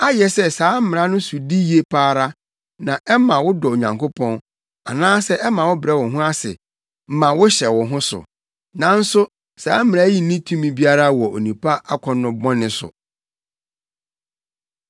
Ayɛ sɛ saa Mmara yi sodi ye pa ara, na ɛma wodɔ Onyankopɔn, anaasɛ ɛma wobrɛ wo ho ase ma wohyɛ wo ho so. Nanso saa mmara yi nni tumi biara wɔ onipa akɔnnɔ bɔne so.